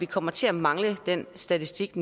kommer til at mangle den statistik